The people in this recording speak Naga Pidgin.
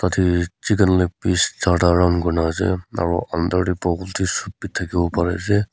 yate chicken leg pis charta round kuri na ase aru under teh bowl teh soup bi thake bo pari ase.